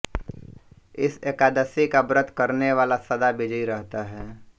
इस एकादशी का व्रत करने वाला सदा विजयी रहता है